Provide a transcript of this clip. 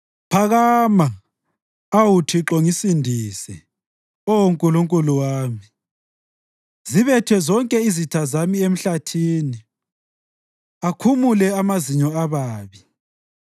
Phakama, awu Thixo Ngisindise, Oh Nkulunkulu wami. Zibethe zonke izitha zami emhlathini; akhumule amazinyo ababi.